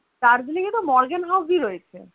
Darjeeling এ তো Morgen House ই রয়েছে